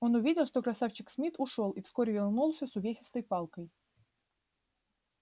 он увидел что красавчик смит ушёл и вскоре вернулся с увесистой палкой